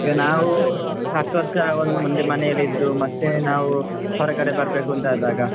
ಈಗ ನಾವ್ ಹತ್ತು ವರ್ಷ ಒಂದೊಂದು ಮಂದಿ ಮನೇಲಿ ಇದ್ದು ಮತ್ತೆ ನಾವ್ ಹೊರಗಡೆ ಬರ್ಬೇಕು ಅಂತ ಆದಾಗ,